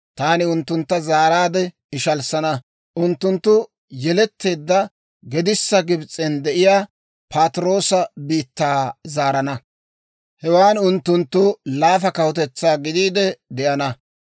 Taani unttuntta zaaraade ishalssana; unttunttu yeletteedda gedissa Gibs'en de'iyaa Patiroosa biittaa zaarana; hewan unttunttu laafa kawutetsaa gidiide de'ana.